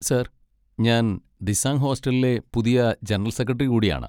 Sir, ഞാൻ ദിസാംഗ് ഹോസ്റ്റലിലെ പുതിയ ജനറൽ സെക്രട്ടറി കൂടെയാണ്.